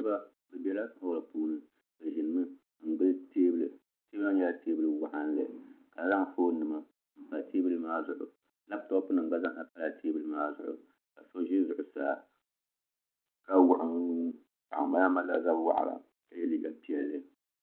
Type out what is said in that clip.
Niraba bi bɛla holl puuni bi ʒinimi n gili teebuli teebuli maa nyɛla teebuli waɣanli ka zaŋ foon nima n pa teebuli maa zuɣu lantop nim gba zaa ha pala teebuli maa zuɣu ka so ʒi zuɣusaa ka wuɣi o nuu paɣa maa malila zab waɣala ka yɛ liiga piɛlli